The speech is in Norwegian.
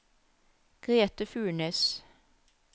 Grete Furnes